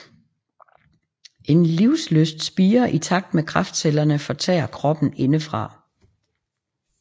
En livslyst spirer i takt med kræftcellerne fortærer kroppen indefra